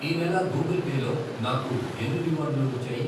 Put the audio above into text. ఈ నెల Google Pay లో నాకు ఎన్ని రివార్డులు వచ్చాయి?